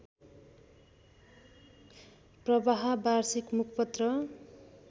प्रवाह वार्षिक मुखपत्र